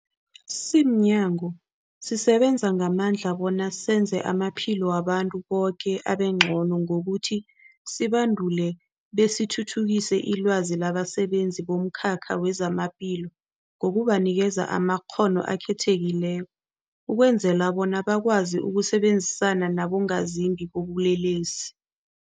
Simnyango, sisebenza ngamandla bona senze amaphilo wabantu boke abengcono ngokuthi sibandule besithuthukise ilwazi labasebenzi bomkhakha wezamaphilo ngokubanikela amakghono akhethekileko ukwenzela bona bakwazi ukusebenzisana nabongazimbi bobulelesi.